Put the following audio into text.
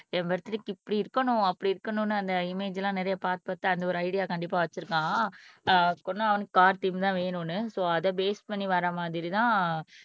என் பர்த்டேக்கு இப்படி இருக்கணும் அப்படி இருக்கணும்ன்னு அந்த இமேஜ் எல்லாம் நிறைய பார்த்து பார்த்து அந்த ஒரு ஐடியா கண்டிப்பா வைச்சிருக்கான் ஆஹ் அவனுக்கு கார் தீம் தான் வேணும்ன்னு சோ அத பேஸ் பண்ணி வர்ற மாதிரிதான்